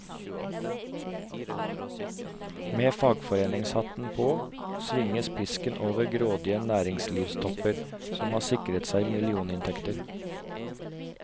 Med fagforeningshatten på, svinges pisken over grådige næringslivstopper, som har sikret seg millioninntekter.